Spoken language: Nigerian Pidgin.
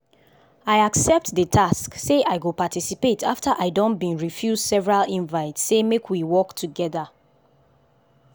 i accept the task say i go paticipate after i don been refuse several invite say make we work together.